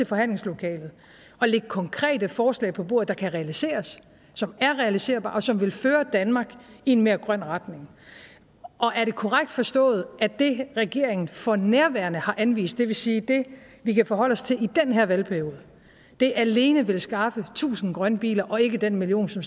forhandlingslokalet og lægge konkrete forslag på bordet der kan realiseres som er realiserbare og som vil føre danmark i en mere grøn retning og er det korrekt forstået at det regeringen for nærværende har anvist det vil sige det vi kan forholde os til i den her valgperiode alene vil skaffe tusind grønne biler og ikke den million som